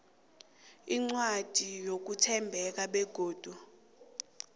incwadi yokuthembeka begodu